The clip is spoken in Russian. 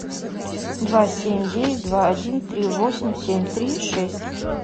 два семь девять два один три восемь семь три шесть